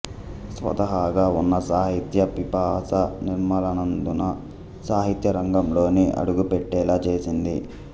స్వతాహాగా ఉన్న సాహిత్య పిపాస నిర్మలానందను సాహిత్య రంగంలోకి అడుగుపెట్టేలా చేసింది